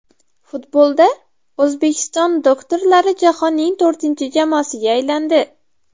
Futbolda O‘zbekiston doktorlari jahonning to‘rtinchi jamoasiga aylandi.